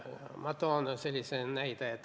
Ma toon sellise näite.